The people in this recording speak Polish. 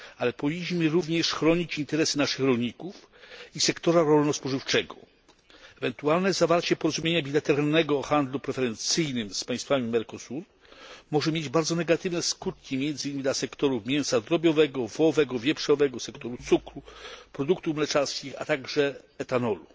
Ale powinniśmy również chronić interesy naszych rolników i sektora rolno spożywczego. Ewentualne zawarcie porozumienia bilateralnego o handlu preferencyjnym z państwami Mercosuru może mieć bardzo negatywne skutki, między innymi dla sektorów mięsa drobiowego, wołowego, wieprzowego, sektora cukru, produktów mleczarskich, a także etanolu.